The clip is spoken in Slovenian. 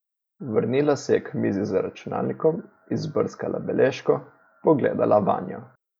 Vrnila se je k mizi z računalnikom, izbrskala beležko, pogledala vanjo.